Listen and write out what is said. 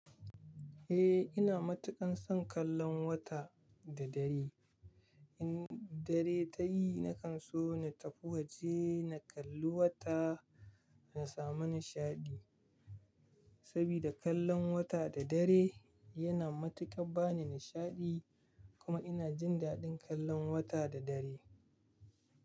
Eh ina matuƙan son kallon wata da dare. In dare ta yi nakan so na tafi waje na kalli wata na samu nishaɗi. Sabida kallon wata da dare yana matuƙan bani nishaɗi kuma ina jin daɗin kallon wata da dare.